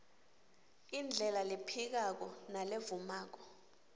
indlela lephikako nalevumako